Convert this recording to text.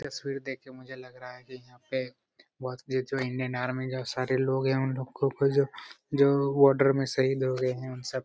तस्वीर देख के मुझे लग रहा है की यहाँ पे जो जो बॉर्डर में शहीद हो गए है उन सब --